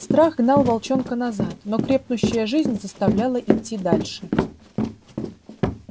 страх гнал волчонка назад но крепнущая жизнь заставляла идти дальше